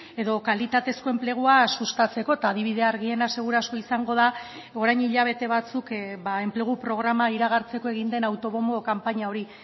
edo kalitatezko enplegua sustatzeko eta adibide argiena seguru asko izango da orain hilabete batzuk enplegu programa iragartzeko egin den autobonbo kanpaina hori